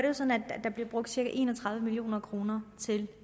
jo sådan at der bliver brugt cirka en og tredive million kroner til